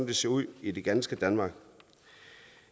det ser ud i det ganske danmark